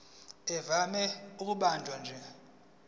ivame ukubanjwa nje